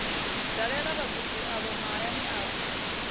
dalela vhagudi avho mahayani avho